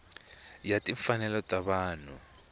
ya timfanelo ta vanhu ya